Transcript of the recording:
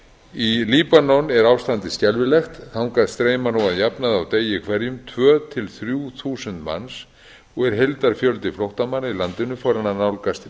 í líbanon er ástandið skelfilegt þangað streyma nú að jafnaði á degi hverjum tvö til þrjú þúsund manns og er heildarfjöldi flóttamanna í landinu farinn að nálgast